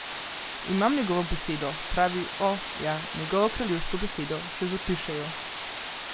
Imam njegovo besedo, pravi, o, ja, njegovo kraljevsko besedo, še zapiše jo.